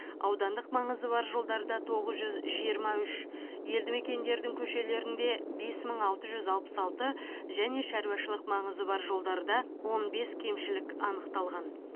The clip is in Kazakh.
аудандық маңызы бар жолдарда тоғыз жүз жиырма үш елді мекендердің көшелерінде бес мың алты жүз алпыс алты және шаруашылық маңызы бар жолдарда он бес кемшілік анықталған